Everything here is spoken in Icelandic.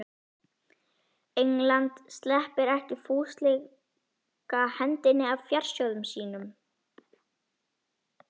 England sleppir ekki fúslega hendinni af fjársjóðum sínum.